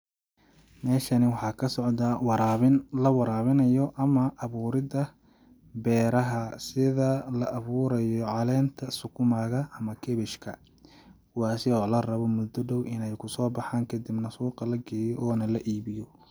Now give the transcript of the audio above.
Meeshani waxaa ka socdaa waraabin la waraabinayo ama awuurida beeraha sida la awuurayo caleenta sukuma ga ama cabbage ka ,kuwaasi oo la rabo mudda dhow ineey kusoo baxaan kadibna suuqa la geeyo oona la iibiyo.